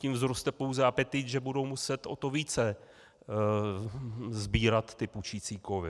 Tím vzroste pouze apetit, že budou muset o to více sbírat ty pučící kovy.